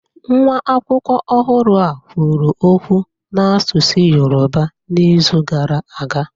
Nwa akwụkwọ ọhụrụ a kwuru okwu n'asụsụ Yoruba n'izu gara aga